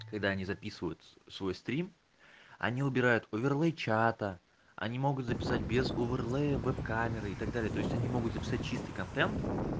когда они записывают свой стрим они убирают оверлей чата они могут записать без оверлея веб-камеры и так далее то есть они могут записать чистый контент